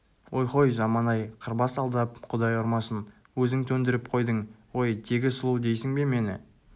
ойхой заман-ай қырбас алдап құдай ұрмасын өзің төндіріп қойдың ғой тегі сұлу дейсің бе мені